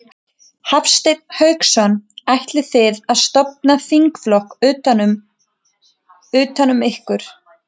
Hafsteinn Hauksson: Ætlið þið að stofna þingflokk utan um, utan um ykkur?